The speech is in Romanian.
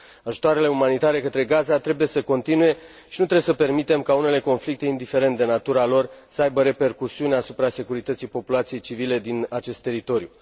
Ajutoarele umanitare către Gaza trebuie să continue și nu trebuie să permitem ca unele conflicte, indiferent de natura lor, să aibă repercusiuni asupra securității populației civile din acest teritoriu.